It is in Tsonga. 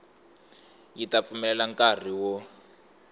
yi ta pfumelela nkari wo